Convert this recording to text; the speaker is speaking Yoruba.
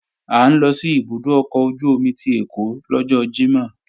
À ń lọ sí ibùdó ọkọ̀ ojú-omi ti Ẹ̀kọ́ lọ́jọ́ Jímọ̀